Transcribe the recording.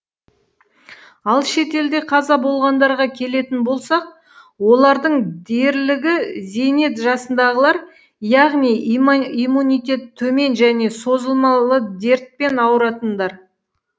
ал шетелде қаза болғандарға келетін болсақ олардың дерлігі зейнет жасындағылар яғни иммунитеті төмен және созылмалы дертпен ауыратындар